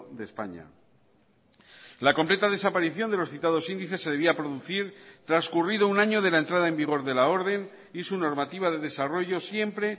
de españa la completa desaparición de los citados índices se debía producir transcurrido un año de la entrada en vigor de la orden y su normativa de desarrollo siempre